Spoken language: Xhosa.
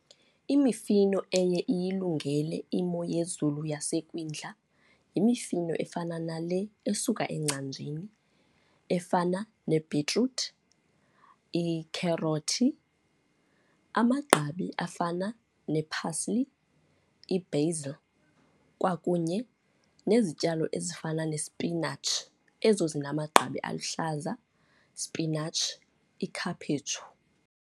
Imifino eye iyilungele imo yezulu yasekwindla, yimifino efana nale esuka engcanjini efana nebhitruthi, ikherothi, amagqabi afana nee-parsley i-basil kwakunye nezityalo ezifana nesipinatshi, ezo zinamagqabi aluhlaza, spinatshi, ikhaphetshu.